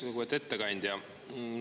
Lugupeetud ettekandja!